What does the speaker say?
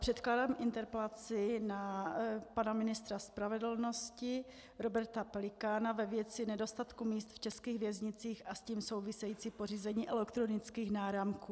Předkládám interpelaci na pana ministra spravedlnosti Roberta Pelikána ve věci nedostatku míst v českých věznicích a s tím souvisejícím pořízením elektronických náramků.